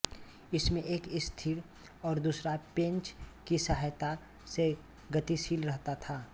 इनमें से एक स्थिर और दूसरा पेंच की सहायता से गतिशील रहता था